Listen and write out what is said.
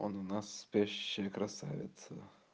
он у нас спящая красавица